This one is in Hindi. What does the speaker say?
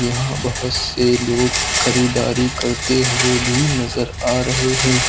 यहां बहुत से लोग खरीददारी करते हुए भी नजर आ रहे हैं।